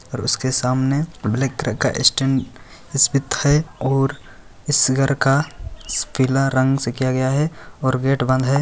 और उसके सामने ब्लैक कलर का स्टैन्ड इस्पिथ है और इस घर का पीला रंग से किया गया है और गेट बंद है।